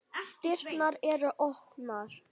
Dyrnar eru opnar.